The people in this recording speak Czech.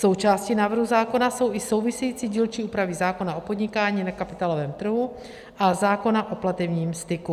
Součástí návrhu zákona jsou i související dílčí úpravy zákona o podnikání na kapitálovém trhu a zákona o platebním styku.